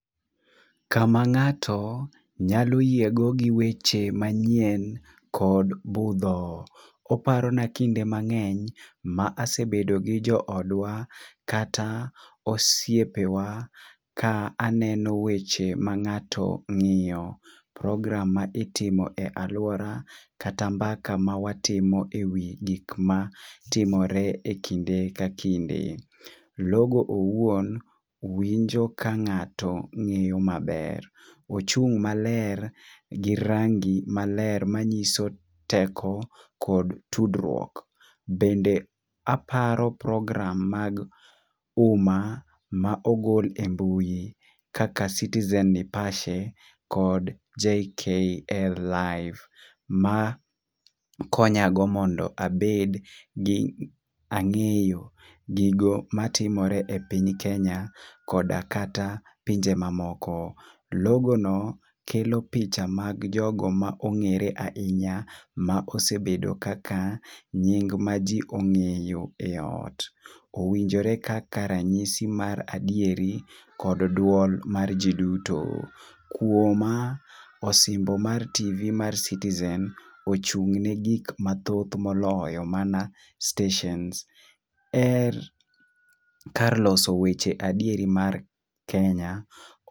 Kama ng'ato nyalo yiego gi weche manyien kod budho. Oparona kinde mang'eny ma asebedo gi joodwa kata osiepewa ka aneno weche ma ng'ato ng'iyo, program ma itimo e alwora, kata mbaka ma watimo e wi gik matimore e wi kinde ka kinde. Logo owuon winjo ka ng'ato ng'eyo maber. Ochung' maler gi rangi maler manyiso teko kod tudruok. Bende aparo program mag uma ma ogol e mbui kaka citizen nipashe kod JKL live ma konyago mondo abed gi ang'eyo gigo matimore e piny Kenya koda kata pinje mamoko. Logono kelo picha mag jogo ma ong'ere ahinya ma osebedo kaka nying maji ong'eyo e ot. Owinjore kaka ranyisi mar adieri kod duol mar ji duto. Kuoma, osimbo mar TV mar citizen ochung'ne gik mathoth moloyo mana steshens e kar loso weche adieri mar Kenya.